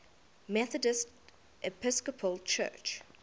methodist episcopal church